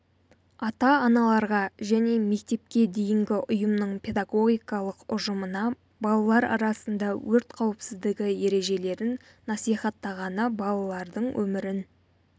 ата-аналарға және мектепке дейінгі ұйымның педагогикалық ұжымына балалар арасында өрт қауіпсіздігі ережелерін насихаттағаны балалардың өмірін